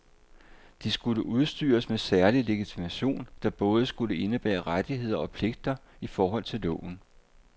De skulle udstyres med særlig legitimation, der både skulle indebære rettigheder og pligter i forhold til loven.